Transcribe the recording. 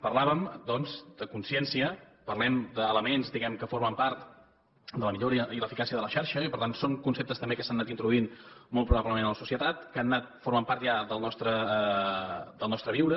parlàvem doncs de consciència parlem d’elements diguem ne que formen part de la millora i l’eficàcia de la xarxa i per tant són conceptes també que s’han anat introduint molt probablement a la societat que han anat formant part ja del nostre viure